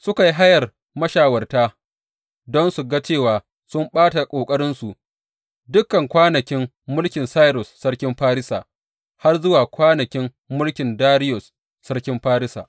Suka yi hayar mashawarta don su ga cewa sun ɓata ƙoƙarinsu dukan kwanakin mulkin Sairus sarkin Farisa har zuwa kwanakin mulkin Dariyus sarkin Farisa.